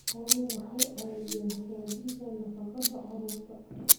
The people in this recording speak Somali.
Xooluhu waxay caawiyaan hagaajinta nafaqada carruurta.